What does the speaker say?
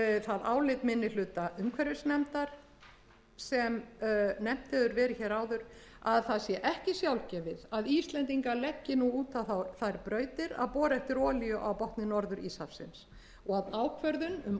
það álit minni hluta umhverfisnefndar sem nefnt hefur verið áður að það sé ekki sjálfgefið að íslendingar leggi út á þær brautir að bora eftir olíu á botni norður íshafsins og ákvörðun um